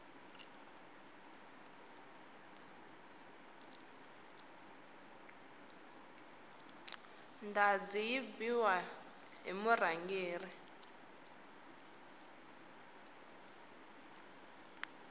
ndhazi yi biwa hi murhangeri